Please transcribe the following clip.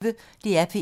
DR P1